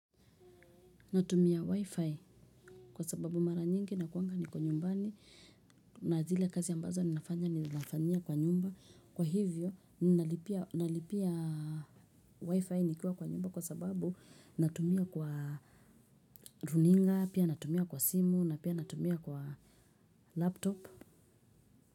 Natumia wifi kwa sababu mara nyingi nakuanga niko nyumbani na zile kazi ambazo ninafanya ninafanyia kwa nyumba kwa hivyo nalipia wifi nikiwa kwa nyumba kwa sababu natumia kwa runinga pia natumia kwa simu na pia natumia kwa laptop.